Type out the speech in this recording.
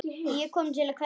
Ég kom til að kveðja.